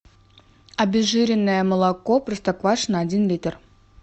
обезжиренное молоко простоквашино один литр